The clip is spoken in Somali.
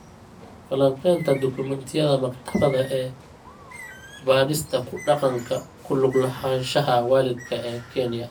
Falanqaynta dukumentiyada maktabadda ee baadhista ku dhaqanka ku lug lahaanshaha waalidka ee Kenya.